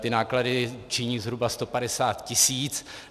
Ty náklady činí zhruba 150 tisíc.